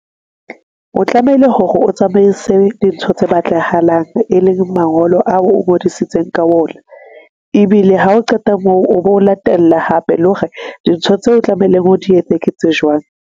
O tlamehile hore o tsamaise dintho tse batlahalang, e leng mangolo ao o ngodisitseng ka ona. Ebile ha o qeta moo, o bo latella hape, le hore dintho tseo tlameleng o di etse ke tse jwang.